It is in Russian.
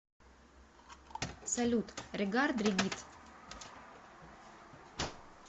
салют регард регит